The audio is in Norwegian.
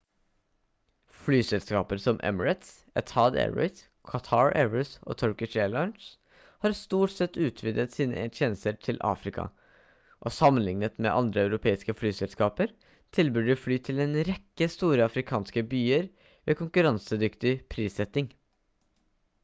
flyselskaper som emirates etihad airways qatar airways og turkish airlines har stort sett utvidet sine tjenester til afrika og sammenlignet med andre europeiske flyselskaper tilbyr de fly til en rekke store afrikanske byer ved konkurransedyktig prissetting